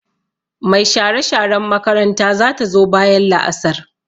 Mai share-sharen makaranta za ta zo bayan la'asar.